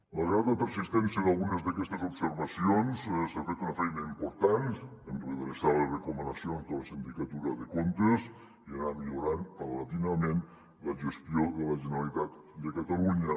malgrat la persistència d’algunes d’aquestes observacions s’ha fet una feina important en redreçar les recomanacions de la sindicatura de comptes i anar millorant progressivament la gestió de la generalitat de catalunya